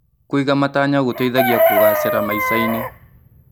Kũiga matanya gũteithagia kũgacĩra maica-inĩ.